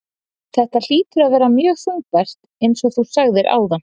Þetta hlýtur að vera mjög þungbært eins og þú segir áðan?